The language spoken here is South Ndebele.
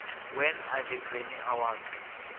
when are the grammy awards